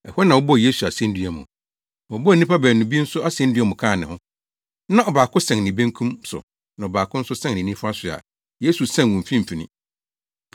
Ɛhɔ na wɔbɔɔ Yesu asennua mu. Wɔbɔɔ nnipa baanu bi nso asennua mu kaa ne ho. Na ɔbaako sɛn ne benkum so na ɔbaako nso sɛn ne nifa so a Yesu sɛn wɔn mfimfini.